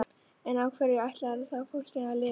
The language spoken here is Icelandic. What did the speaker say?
En á hverju ætlarðu þá fólkinu að lifa?